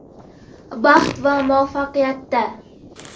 Baxtda va muvaffaqiyatda!